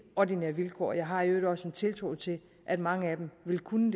ordinære vilkår jeg har i øvrigt også en tiltro til at mange af dem vil kunne